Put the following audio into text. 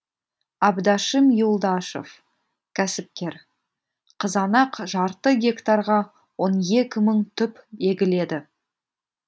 абдашим юлдашев кәсіпкер қызанақ жарты гектарға он екі мың түп егіледі